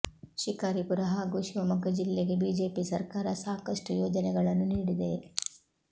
ಶಿಕಾರಿಪುರ ಹಾಗೂ ಶಿವಮೊಗ್ಗ ಜಿಲ್ಲೆಗೆ ಬಿಜೆಪಿ ಸರ್ಕಾರ ಸಾಕಷ್ಟು ಯೋಜನೆಗಳನ್ನು ನೀಡಿದೆ